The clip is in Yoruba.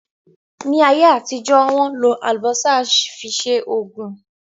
Ní ayé àtijọ́, Wọ́n ń lò Àlùbọ́sà fi ṣe Ògùn